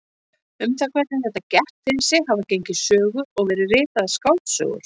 Um það hvernig þetta gekk fyrir sig hafa gengið sögur og verið ritaðar skáldsögur.